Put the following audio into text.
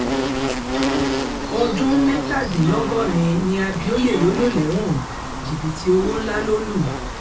ọdún mẹ́tàdínlọ́gọ́rin ni abioye yóò lò lẹ́wọ̀n jìbìtì owó ńlá ló lù